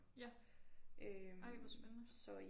Ja ej hvor spændende